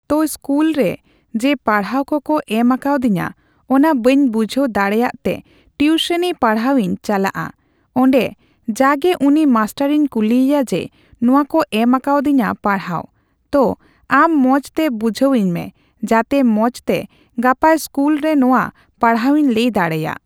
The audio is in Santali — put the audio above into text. ᱛᱚ ᱤᱥᱠᱩᱞᱨᱮ ᱡᱮ ᱯᱟᱲᱦᱟᱣ ᱠᱚᱠᱚ ᱮᱢ ᱟᱠᱟᱫᱤᱧᱟᱹ ᱚᱱᱟ ᱵᱟᱹᱧ ᱵᱩᱡᱷᱟᱹᱣ ᱫᱟᱲᱮᱜᱛᱮ ᱴᱤᱩᱥᱩᱱᱤ ᱯᱟᱲᱦᱟᱣᱤᱧ ᱪᱟᱞᱟᱜᱼᱟ ᱚᱸᱰᱮ ᱡᱟᱜᱮ ᱩᱱᱤ ᱢᱟᱥᱴᱟᱨᱤᱧ ᱠᱩᱞᱤᱭᱮᱭᱟ ᱡᱮ ᱱᱚᱣᱟᱠᱚ ᱮᱢ ᱟᱠᱟᱫᱤᱧᱟᱹ ᱯᱟᱲᱦᱟᱣ ᱛᱚ ᱟᱢ ᱢᱚᱡᱛᱮ ᱵᱩᱡᱷᱟᱹᱣᱟᱹᱧ ᱢᱮ ᱡᱟᱛᱮ ᱢᱚᱡᱛᱮ ᱜᱟᱯᱟ ᱤᱥᱠᱩᱞᱨᱮ ᱱᱚᱣᱟ ᱯᱟᱲᱦᱟᱣᱤᱧ ᱞᱟᱹᱭᱫᱟᱲᱨᱜ ᱾